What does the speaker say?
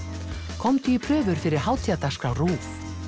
komdu í prufur fyrir hátíðardagskrá RÚV